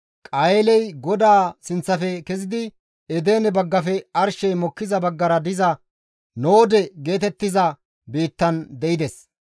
Qayeeley GODAA sinththafe kezidi Edene baggafe arshey mokkiza baggara diza Noode geetettiza biittan de7ides.